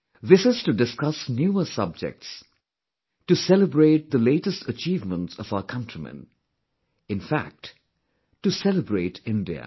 This is to discuss newer subjects; to celebrate the latest achievements of our countrymen; in fact, to celebrate India